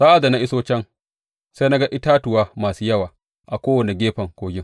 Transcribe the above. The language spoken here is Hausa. Sa’ad da na iso can, sai na ga itatuwa masu yawa a kowane gefen kogin.